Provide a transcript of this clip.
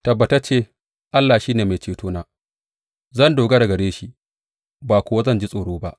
Tabbatacce Allah shi ne mai cetona; zan dogara gare shi ba kuwa zan ji tsoro ba.